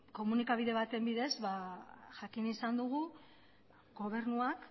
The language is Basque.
komunikabide baten bidez jakin izan dugu gobernuak